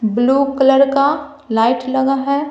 Blue colour का light लगा है।